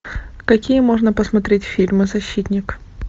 какие можно посмотреть фильмы защитник